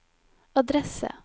adresse